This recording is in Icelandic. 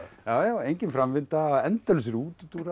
engin framvinda endalausir útúrdúrar